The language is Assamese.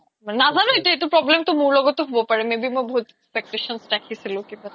নাজানো এতিয়া এইটো problem টো মোৰ লগতো হব পাৰে maybe মই বহুত expectations ৰাখিছিলো কিবা